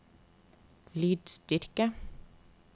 lydstyrke